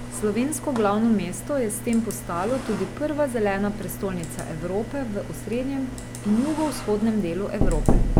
Slovensko glavno mesto je s tem postalo tudi prva zelena prestolnica Evrope v osrednjem in jugovzhodnem delu Evrope.